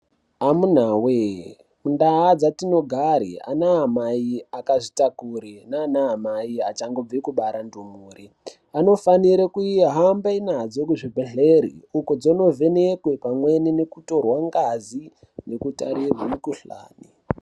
Amuna voye mundaa dzatinogare anaamai akazvitakure naanaamai achangobve kubara ndumure. Anofanire kuhamba nadzo kuzvibhedhlere uko dzonovhenekwe pamweni nokutore ngazi ngkutarirwe mikuhlani.